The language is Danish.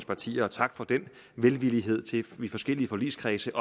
partier og tak for den velvillighed til i forskellige forligskredse